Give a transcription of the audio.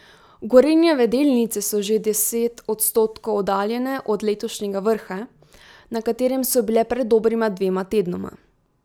Gorenjeve delnice so že deset odstotkov oddaljene od letošnjega vrha, na katerem so bile pred dobrima dvema tednoma.